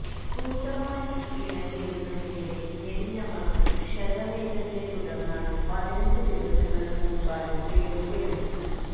കൂട്ടമായി ഇണചേരുന്നതിനിടെ ഞെരിഞ്ഞമർന്ന് ക്ഷതമേറ്റതിനെ തുടർന്നാണ് പതിനഞ്ച് ദിവസങ്ങൾക്ക് മുൻപാണ് രേണുകയെന്